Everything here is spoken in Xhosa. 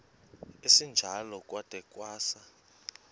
esinjalo kwada kwasa